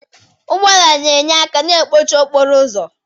Ụgbọ ala na-enye aka na mkpọchị okporo ụzọ.